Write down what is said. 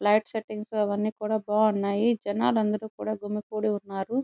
Light settings అవన్నీ కూడా బాగున్నాయి జనాలు అందరూ కూడా గుమ్మి కూడి ఉన్నారు.